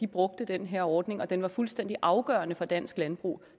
brugte den her ordning og den var fuldstændig afgørende for dansk landbrug